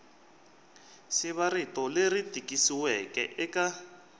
siva rito leri tikisiweke eka